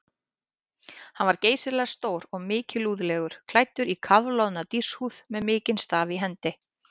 Hann var geysilega stór og mikilúðlegur, klæddur í kafloðna dýrshúð með mikinn staf í hendi.